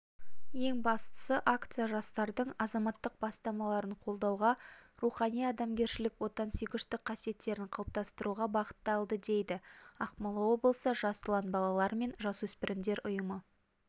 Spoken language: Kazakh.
ең бастысы акция жастардың азаматтық бастамаларын қолдауға рухани-адамгершілік отансүйгіштік қасиеттерін қалыптастыруға бағытталды дейді ақмола облысы жас ұлан балалар мен жасөспірімдер ұйымы